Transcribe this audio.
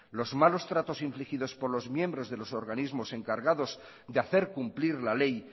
los malos tratos infligidos por los miembros de los organismos encargados de hacer cumplir la ley